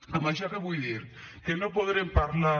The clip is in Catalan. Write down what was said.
amb això què vull dir que no podrem parlar